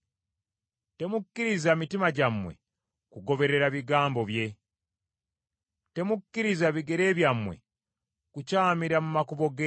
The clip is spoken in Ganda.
Temukkiriza mitima gyammwe kugoberera bigambo bye; temukkiriza bigere byammwe kukyamira mu makubo ge.